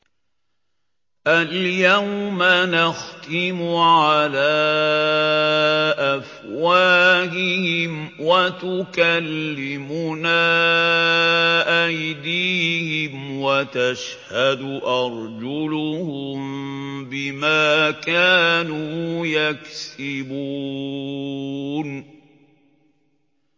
الْيَوْمَ نَخْتِمُ عَلَىٰ أَفْوَاهِهِمْ وَتُكَلِّمُنَا أَيْدِيهِمْ وَتَشْهَدُ أَرْجُلُهُم بِمَا كَانُوا يَكْسِبُونَ